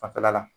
Fanfɛla la